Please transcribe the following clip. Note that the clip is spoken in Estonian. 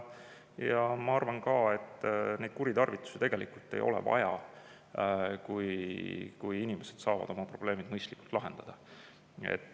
Ja ma arvan ka, et nendeks kuritarvitusteks tegelikult ei ole põhjust, kui inimesed saavad oma probleemid mõistlikult lahendada.